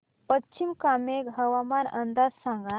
पश्चिम कामेंग हवामान अंदाज सांगा